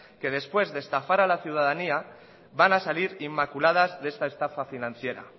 que después de estafar a la ciudadanía van a salir inmaculadas de esta estafa financiera